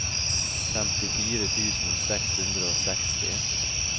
femtifire tusen seks hundre og seksti